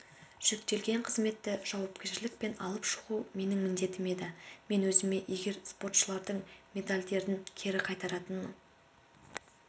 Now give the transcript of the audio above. жүктелген қызметті жауапкершілікпен алып шығу менің міндетім еді мен өзіме егер спортшылардың медальдерін кері қайтаратын